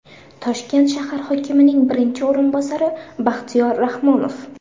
Toshkent shahar hokimining birinchi o‘rinbosari Baxtiyor Rahmonov.